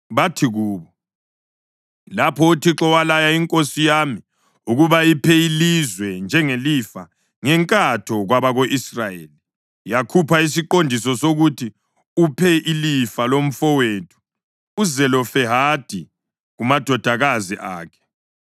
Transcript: Bathi kubo, “Lapho uThixo walaya inkosi yami ukuba iphe ilizwe njengelifa ngenkatho kwabako-Israyeli, yakhupha isiqondiso sokuthi uphe ilifa lomfowethu uZelofehadi kumadodakazi akhe.